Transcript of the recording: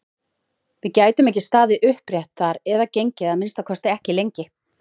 Við gætum ekki staðið upprétt þar eða gengið, að minnsta kosti ekki lengi!